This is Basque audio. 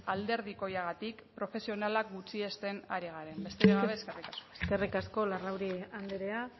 alderdikoagatik profesionalak gutxiesten ari garen besterik gabe eskerrik asko eskerrik asko larrauri andrea